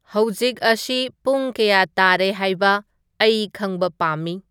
ꯍꯧꯖꯤꯛ ꯑꯁꯤ ꯄꯨꯡ ꯀꯌꯥ ꯇꯥꯔꯦ ꯍꯥꯏꯕ ꯑꯩ ꯈꯪꯕ ꯄꯥꯝꯃꯤ